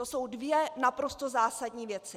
To jsou dvě naprosto zásadní věci.